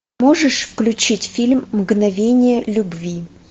можешь включить фильм мгновение любви